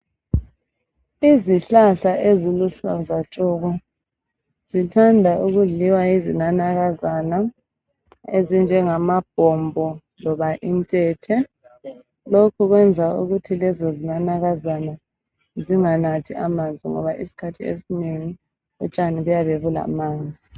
Izihlahla eziluhlaza tshoko zithanda ukudliwa yizinanakazana ezinjengama bhombo loba intethe lokhu kwenza ukuthi lezo zinanakazana zinganathi amanzi ngoba isikhathi esinengi utshani buyabe bulamanzi.